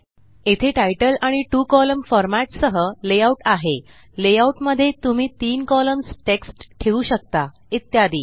येथे तितले आणि two column format सह लेआउट्स आहेत लेआउट जेथे तुम्ही तीन कॉलम्स मध्ये टेक्स्ट ठेवू शकता इत्यादी